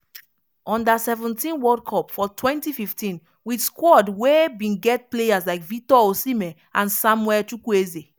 under seventeenworld cup for 2015 wit squad wey bin get players like victor osimhen and samuel chukwueze.